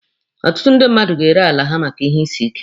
Ọtụtụ ndị mmadụ ga-ere ala ha maka ihe isi ike.